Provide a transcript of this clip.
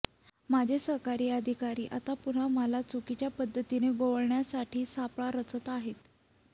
माझे सहकारी अधिकारी आता पुन्हा मला चुकीच्या पद्धतीने गोवण्यासाठी सापळा रचत आहेत